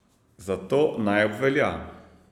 Zato naj obvelja.